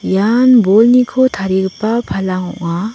ian bolniko tarigipa palang ong·a.